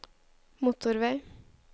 motorvei